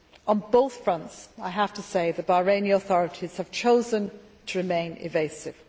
On both fronts, I have to say, the Bahraini authorities have chosen to remain evasive.